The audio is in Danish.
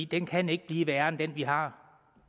den kan ikke blive værre end den vi har